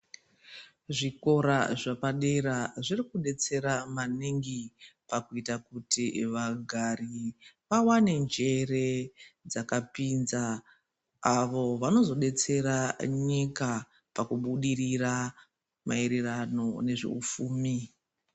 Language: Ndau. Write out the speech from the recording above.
Zvikora zvepadera zviri kudetsera maningi, pakuita kuti vagari vawane njere dzakapinza avo vano zodetsera nyika pakubudirira maererano nezveupfumi.